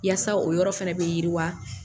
Yaasa o yɔrɔ fana bɛ yiriwa